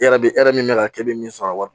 E yɛrɛ bɛ e yɛrɛ min bɛ ka kɛ e bɛ min sɔrɔ